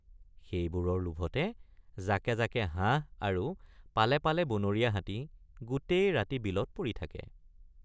সেইবোৰৰ লোভতে জাকে জাকে হাঁহ আৰু পালে পালে বনৰীয়া হাতী গোটেই ৰাতি বিলত পৰি থাকে।